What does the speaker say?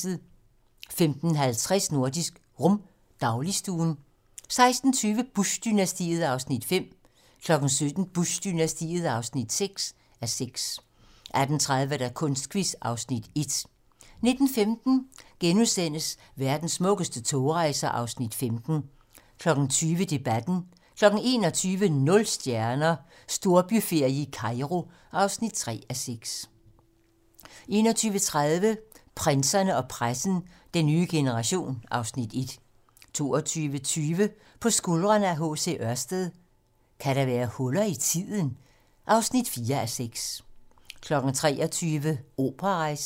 15:50: Nordisk Rum - dagligstuen 16:20: Bush-dynastiet (5:6) 17:00: Bush-dynastiet (6:6) 18:30: Kunstquiz (Afs. 1) 19:15: Verdens smukkeste togrejser (Afs. 15)* 20:00: Debatten 21:00: Nul stjerner - Storbyferie i Kairo (3:6) 21:30: Prinserne og pressen - Den nye generation (Afs. 1) 22:20: På skuldrene af H. C. Ørsted - Kan der være huller i tiden? (4:6) 23:00: Operarejsen